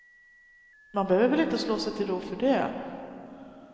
Man behöver väl inte slå sig till ro för det.